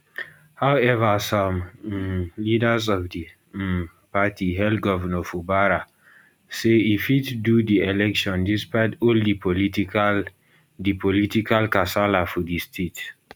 however some um leaders of di um party hail govnor fubara say e fit do di election despite all di political di political kasala for di state